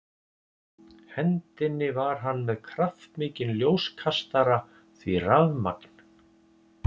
hendinni var hann með kraftmikinn ljóskastara því rafmagn